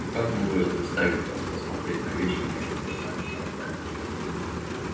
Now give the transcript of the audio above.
ну как могу я заставить вас посмотреть на вещи моими глазами дорогая